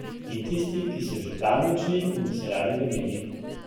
In tisti, ki so že zdavnaj odšli in bi se radi vrnili.